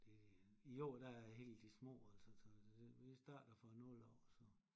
Det i år der er helt de små altså vi starter fra 0 år så